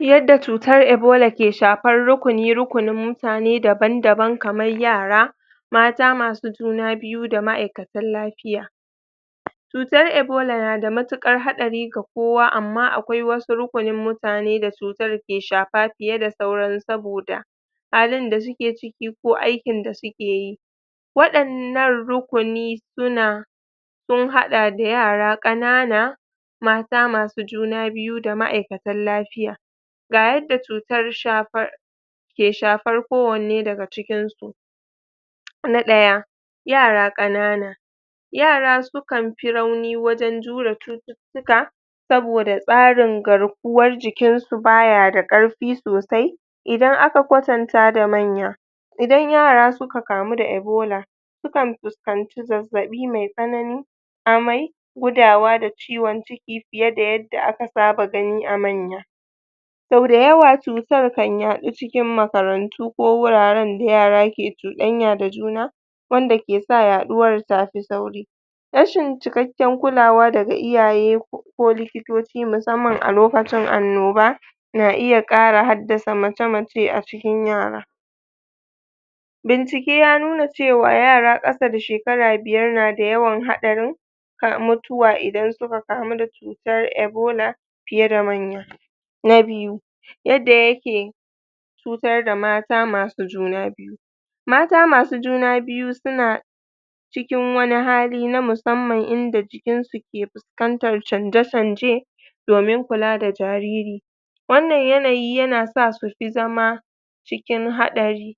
Yadda chuttar ebola ke shapar rukuni rukunin mutane daban daban kamar yara mata masu juna biyu da ma'aikatan lapiya chutar ebola na da muttuƙar haɗari ga kowa amma akwai wasu rukunin mutane da chutar ke shapa piye da sauran saboda halin da suke ciki ko aikin da suke yi waɗannan rukuni su na sun haɗa da yara ƙanana mata masu juna biyu da ma'aikatan lapiya ga yadda chutar shapar ke shapar ko wanne daga cikin su na ɗaya yara ƙanana yara sukan pi rauni wajen jure chututtuka saboda tsarin garkuwan jikinsu baya da ƙarfi sosai idan aka kwatanta da manya idan yara suka kamu da ebola sukan fuskanci zazzaɓi mai tsanani amai, gudawa da ciwon ciki piye da yadda aka saba gani a manya sau dayawa chutar kan yaɗu cikin makarantu ko wuraren da yara ke chuɗanya da juna wanda ke sa yaɗuwar ta fi sauri rashin cikakken kulawa daga iyaye ko likitoci musamman a lokacin annoba na iya ƙara haddasa mace mace a cikin yara bincike ya nuna cewa yara ƙasa da shekara biyar na da yawan haɗarin kan mutuwa idan suka kamu da chuttar ebola piye da manya na biyu, yadda yake chutar da mata masu juna biyu mata masu juna biyu suna cikin wani hali na musamman inda jikin su ke puskantan canje canje domin kula da jariri wannan yanayi yana sa su fi zama cikin haɗari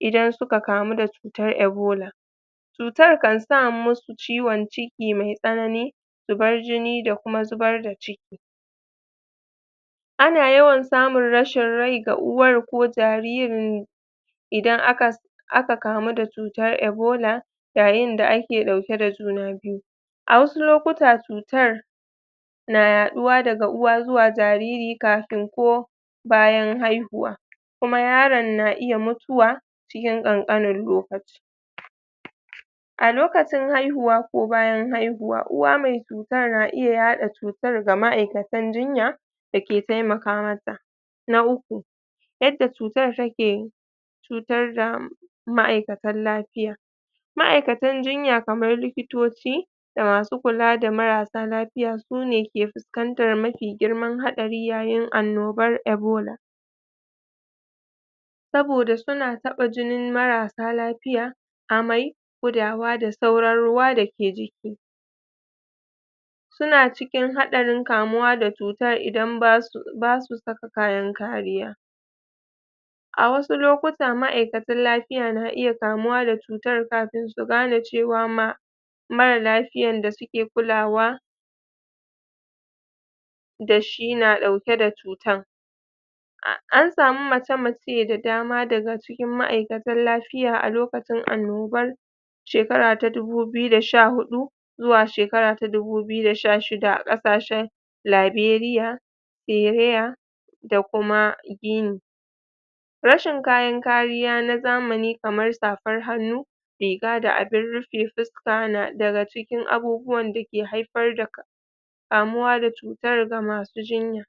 idan suka kamu da chutar ebola chutan kan sa masu ciwon ciki mai tsanani, zubar jini da kuma zubar da ciki ana yawan samun rashin rai ga uwar ko jaririn idan aka kamu da chutar ebola yayin da ake ɗauke da juna biyu a wasu lokutan, chutar na yaɗuwa daga uwa zuwa jariri kafin ko bayan haihuwa kuma yaron na iya mutuwa cikin ƙanƙanin lokaci a lokacin haihuwa ko bayan haihuwa, uwa mai cutar na iya yaɗa cutar ga ma'aikatan jinya da ke taimaka masa na uku, yadda cutan take cutar da ma'aikatan lafiya ma aikatan jinya kaman likitoci da masu kula da marassa lafiya, sune ke fuskantan mafi girman haɗari yayin annobar ebola saboda suna taɓa jinin marasa lafiya, amai, gudawa da sauran ruwa da ke jiki suna cikin haɗarin kamuwa da cutar idan basu saka kayan kariya a wasu lokutan ma'aikatan lapiya na iya kamuwa da cutar kafin su gane cewa ma marar lapiyan da suke kulawa da shi na dauke da cutan an samu mace mace da dama daga cikin ma'aikatan lapiya a lokacin annobar shekara ta dubu biyu da sha huɗu zuwa shekara ta dubu biyu da sha shida a ƙasashen laberiya, hereya, da kuma gini rashin kayan kariya na zamani kaman sapan hannu riga da abun rupe puska na daga cikin abubuwan da ke haifar da kamuwa da cutar ga masu jinya.